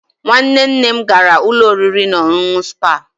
Nwanne nne m gara ụlọ oriri na ọṅụṅụ spaa.